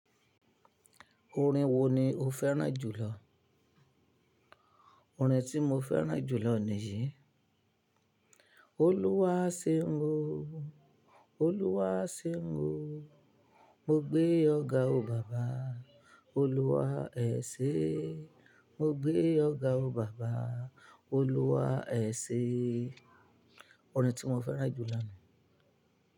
Orin wo ni o fẹ́ràn jùlọ? Orin tí mo fẹ́ràn jùlọ ni yìí. Olúwa ṣeun, Olúwa ṣeun. Mo gbé ọ ga o baba, Olúwa ẹ ṣè. Mo gbé ọ ga o baba, Olúwa ẹ ṣè. Orin tí mo fẹ́ràn jùlọ nìí.